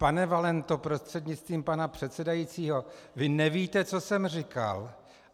Pane Valento prostřednictvím pana předsedajícího, vy nevíte, co jsem říkal.